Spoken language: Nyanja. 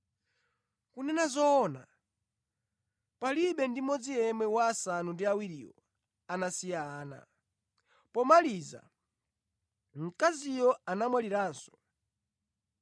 Kunena zoona, palibe ndi mmodzi yemwe wa asanu ndi awiriwo anasiya ana. Pomaliza, mkaziyo anamwaliranso.